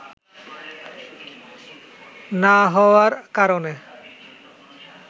না হওয়ার কারণে